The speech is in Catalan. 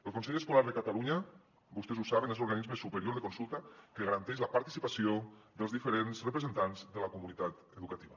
el consell escolar de catalunya vostès ho saben és l’organisme superior de consulta que garanteix la participació dels diferents representants de la comunitat educativa